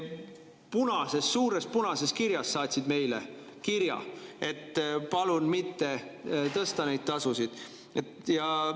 Nad saatsid suures punases kirjas meile kirja: palun mitte tõsta neid tasusid!